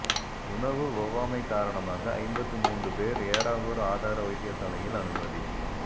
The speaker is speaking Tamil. உணவு ஒவ்வாமை காரணமாக ஐம்பத்து மூன்று பேர் ஏறாவூர் ஆதார வைத்தியசாலையில் அனுமதி